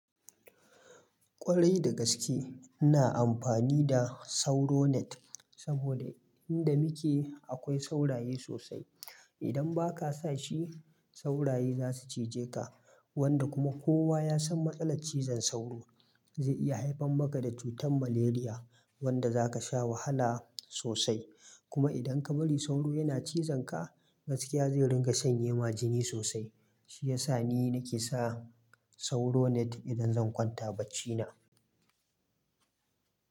Kwarai da gaske ina amfani da sauro net saboda inda muke akwai sauraye sosai. Idan ba ka sa shi sauraye za su cije ka wanda kuma kowa ya san matsalar cizon sauro zai iya haifan maka da cutar malaria wanda za ka sha wahala sosai. Kuma idan ka bari sauro yana cizon ka gaskiya zai ringa sanye ma jini sosai. Shi ya sa ni nake sa sauro net idan zan kwanta baccina.